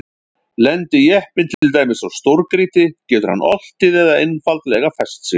Lendi jeppinn til dæmis á stórgrýti getur hann oltið eða einfaldlega fest sig.